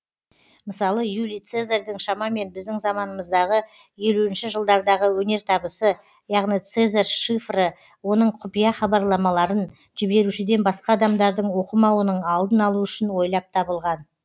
мысалы юлий цезарьдың шамамен біздің заманымыздағы елуінші жылдардағы өнертабысы яғни цезарь шифры оның құпия хабарламаларын жіберушіден басқа адамдардың оқымауының алдын алу үшін ойлап табылған